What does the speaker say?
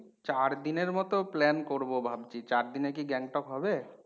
চারদিনের মতো plan করবো ভাবছি। চারদিনে কি Gangtok হবে?